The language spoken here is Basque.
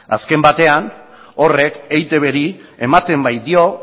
azken batean horrek eitbri ematen baitio